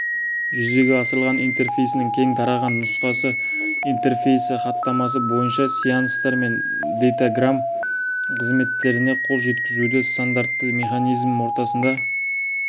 жүзеге асырылған интерфейсінің кең тараған нұсқасы интерфейсі хаттамасы бойынша сеанстар мен дейтаграмм қызметтеріне қол жеткізудің стандартты механизмі ортасында